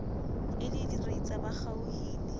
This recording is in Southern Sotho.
e le diritsa ba kgaohile